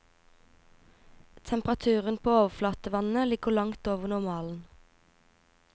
Temperaturen på overflatevannet ligger langt over normalen.